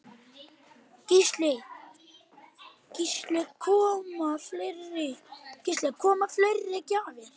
Gísli: Koma fleiri gjafir?